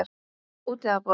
Úti að borða.